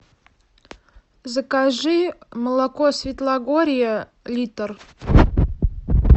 закажи молоко светлогорье литр